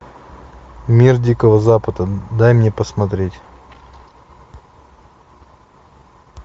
мир дикого запада дай мне посмотреть